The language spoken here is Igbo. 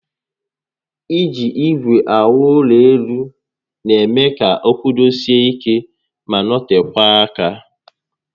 Iji igwe awu ulo elu n'eme ka o kwudosie ike ma notekwaa aka